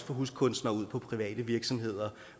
få huskunstnere ud på private virksomheder